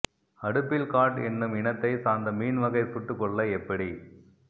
அடுப்பில் காட் என்னும் இனத்தைச் சார்ந்த மீன் வகை சுட்டுக்கொள்ள எப்படி